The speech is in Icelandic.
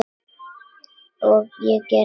Og ég gerði það aftur.